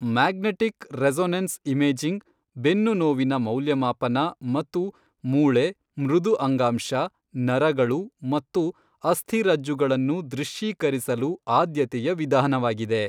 Magnetic resonance imaging ಬೆನ್ನುನೋವಿನ ಮೌಲ್ಯಮಾಪನ ಮತ್ತು ಮೂಳೆ, ಮೃದು ಅಂಗಾಂಶ, ನರಗಳು ಮತ್ತು ಅಸ್ಥಿರಜ್ಜುಗಳನ್ನು ದೃಶ್ಯೀಕರಿಸಲು ಆದ್ಯತೆಯ ವಿಧಾನವಾಗಿದೆ.